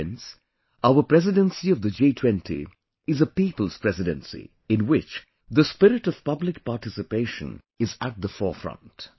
Friends, Our Presidency of the G20 is a People's Presidency, in which the spirit of public participation is at the forefront